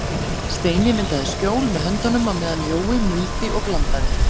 Steini myndaði skjól með höndunum á meðan Jói muldi og blandaði.